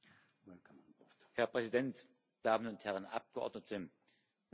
Herr Präsident, meine Damen und Herren Abgeordneten, meine Damen und Herren!